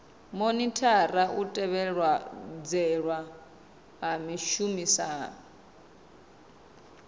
monithara u tevhedzelwa ha zwishumiswa